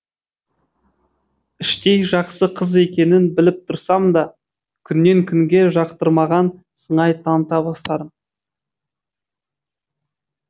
іштей жақсы қыз екенін біліп тұрсам да күннен күнге жақтырмаған сыңай таныта бастадым